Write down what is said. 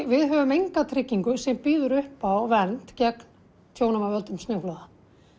við höfum enga tryggingu sem býður uppá vernd gegn tjónum af völdum snjóflóða